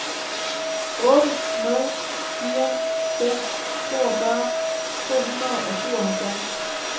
otte nul fire fem toogfyrre to hundrede og syvoghalvfjerds